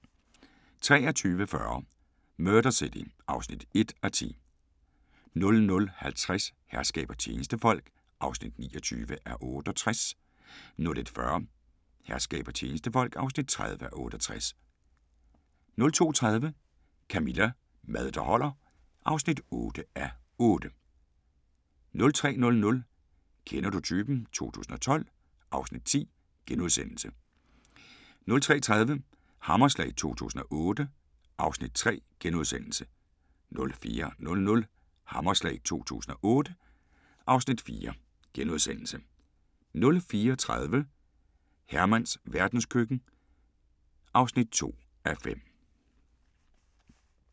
23:40: Murder City (1:10) 00:50: Herskab og tjenestefolk (29:68) 01:40: Herskab og tjenestefolk (30:68) 02:30: Camilla – Mad der holder (8:8) 03:00: Kender du typen? 2012 (Afs. 10)* 03:30: Hammerslag 2008 (Afs. 3)* 04:00: Hammerslag 2008 (Afs. 4)* 04:30: Hermans verdenskøkken (2:5)